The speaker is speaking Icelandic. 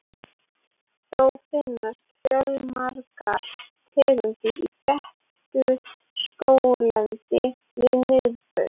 Þó finnast fjölmargar tegundir í þéttu skóglendi við miðbaug.